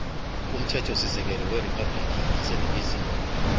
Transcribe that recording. umthethosisekelo weriphabhulikhi yaseningizimu